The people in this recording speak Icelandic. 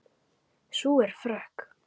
Sú er frökk!